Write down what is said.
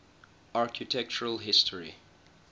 architectural history